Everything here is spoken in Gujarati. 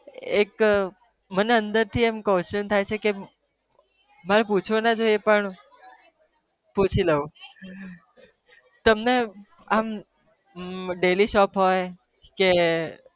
એક મને અંદરથી question થાય છે કે મારે પૂછવો ના જોઈએ પણ પૂછી લઉં તમને આમ અમ daily show હોય કે